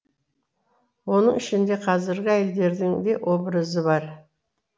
оның ішінде қазіргі әйелдердің де образы бар